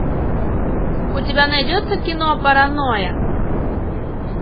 у тебя найдется кино паранойя